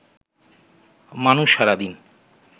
মানুষ সারাদিন